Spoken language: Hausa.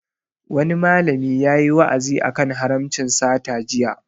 Wani malami yayi wa'azi a kan haramcin sata jiya